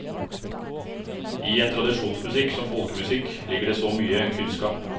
I en tradisjonsmusikk som folkemusikk ligger det så mye kunnskap.